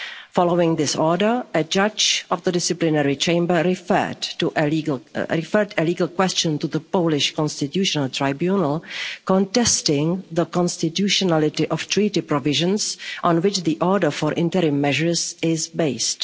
Following this order, a judge of the Disciplinary Chamber referred a legal question to the Polish Constitutional Tribunal contesting the constitutionality of treaty provisions on which the order for interim measures is based.